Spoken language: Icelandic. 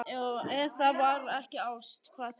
Og ef það var ekki ást, hvað þá?